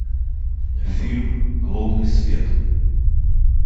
фильм лунный свет